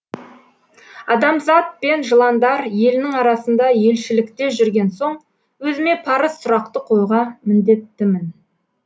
адамзат пен жыландар елінің арасында елшілікте жүрген соң өзіме парыз сұрақты қоюға міндеттімін